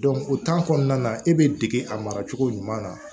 o kɔnɔna na e bɛ dege a mara cogo ɲuman na